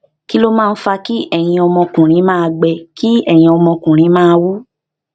kí ló máa ń fa kí ẹyin ọmọkùnrin máa gbẹ kí ẹyin ọmọkùnrin máa wú